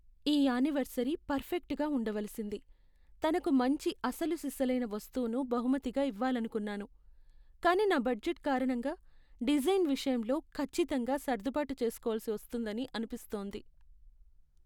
ఈ యానివర్సరీ పర్ఫెక్ట్గా ఉండవలసింది, తనకు మంచి అసలుసిసలైన వస్తువును బహుమతిగా ఇవ్వాలనుకున్నాను. కానీ నా బడ్జెట్ కారణంగా డిజైన్ విషయంలో ఖచ్చితంగా సర్దుబాటు చేస్కోవలసి వస్తుందని అనిపిస్తోంది.